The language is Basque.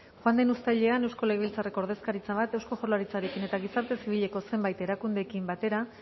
joan den uztailean eusko legebiltzarreko ordezkaritza bat eusko jaurlaritzarekin eta gizarte zibileko zenbait erakundeekin batera